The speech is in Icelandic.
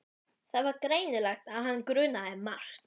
Það var greinilegt að hann grunaði margt.